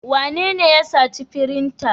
Wanene ya sace firinta?